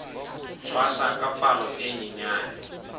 tshwasa ka palo e nyenyane